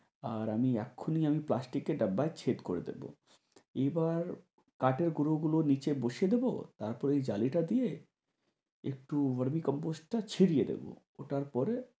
আর আমি এখনি আমি প্লাস্টিকের ডাব্বায় ছেদ করে দিবো। এবার কাঠের গুড়োগুলো নিচে বসিয়ে দিবো তারপরে জালিটা দিয়ে এক্টু compost টা ছিড়িয়ে দিবো